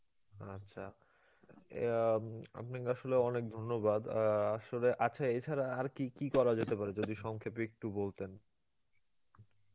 আচ্ছা ইয়া আম আপনাকে আসলে অনেক ধন্যবাদ, অ্যাঁ আসলে আচ্ছা এছাড়া আর কী কী করা যেতে পারে যদি সংক্ষেপে একটু বলতেন